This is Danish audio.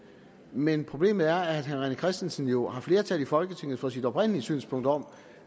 men problemet er at herre rené christensen jo har flertal i folketinget for sit oprindelige synspunkt om